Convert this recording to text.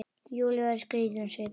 Júlía verður skrítin á svip.